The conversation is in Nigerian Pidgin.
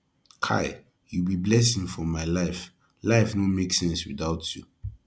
kai you be blessing for my life life no make sense without you